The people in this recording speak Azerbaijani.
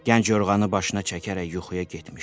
Gənc yorğanı başına çəkərək yuxuya getmişdi.